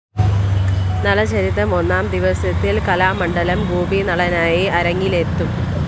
നളചരിതം ഒന്നാം ദിവസത്തില്‍ കലാമണ്ഡലം ഗോപി നളനായി അരങ്ങിലെത്തും